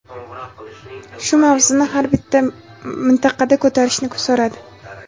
shu mavzuni har bir mintaqada ko‘tarishni so‘radi.